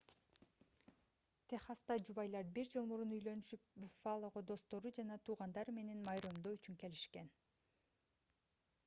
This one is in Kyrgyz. техаста жубайлар бир жыл мурун үйлөнүшүп буффалого достору жана туугандары менен майрамдоо үчүн келишкен